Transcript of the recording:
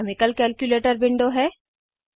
यह chemical calculator window है